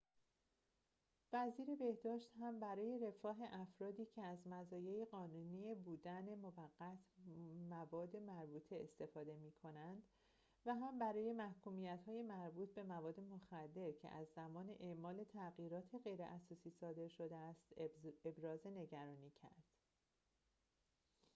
وزیر بهداشت هم برای رفاه افرادی که از مزایای قانونی بودن موقت مواد مربوطه استفاده می‌کنند و هم برای محکومیت‌های مربوط به مواد مخدر که از زمان اعمال تغییرات غیراساسی صادر شده است ابراز نگرانی کرد